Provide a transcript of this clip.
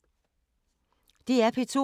DR P2